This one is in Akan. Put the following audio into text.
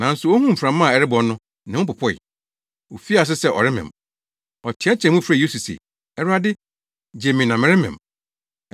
Nanso ohuu mframa a ɛrebɔ no ne ho popoe. Ofii ase sɛ ɔremem. Ɔteɛteɛɛ mu, frɛɛ Yesu se, “Awurade, gye me na meremem!”